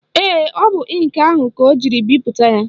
Ee, ọ bụ ịnkị ahụ ka ọ jiri bipụta ya